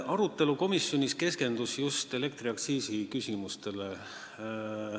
Arutelu komisjonis keskendus just elektriaktsiisile.